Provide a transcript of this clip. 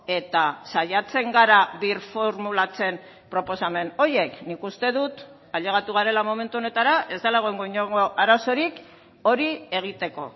eta saiatzen gara birformulatzen proposamen horiek nik uste dut ailegatu garela momentu honetara ez dela egongo inongo arazorik hori egiteko